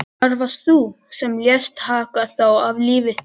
Það varst þú sem lést taka þá af lífi.